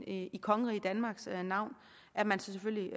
i kongeriget danmarks navn at man selvfølgelig